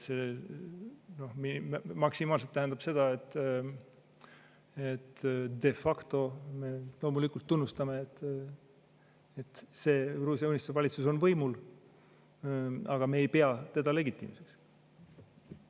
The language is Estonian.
See maksimaalselt tähendab seda, et de facto me loomulikult tunnustame, et see Gruusia Unistuse valitsus on võimul, aga me ei pea teda legitiimseks.